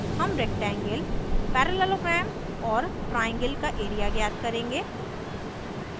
हम rectangle parallelogram और triangle का एरिया ज्ञात करेंगे